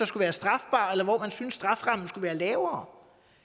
skulle være strafbare eller hvor man synes strafferammen skulle være lavere